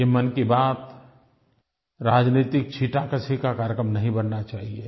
ये मन की बात राजनैतिक छींटाकशी का कार्यक्रम नहीं बनना चाहिए